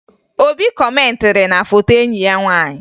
Obi kọmentịrị na foto enyi ya nwaanyị